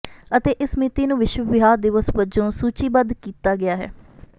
ਅਤੇ ਇਸ ਮਿਤੀ ਨੂੰ ਵਿਸ਼ਵ ਵਿਆਹ ਦਿਵਸ ਵਜੋਂ ਸੂਚੀਬੱਧ ਕੀਤਾ ਗਿਆ ਹੈ